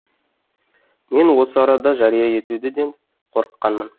мен осы арада жария етуден де қорыққанмын